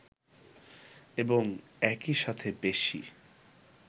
এবং একই সাথে বেশী